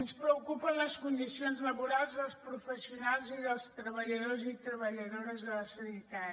ens preocupen les condicions laborals dels professionals i dels treballadors i treballadores de la sanitat